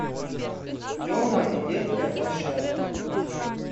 тема и детская площадка